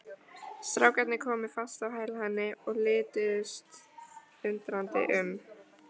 Strákarnir komu fast á hæla henni og lituðust undrandi um.